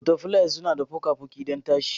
Butterflies suna da fuka-fuki don tashi.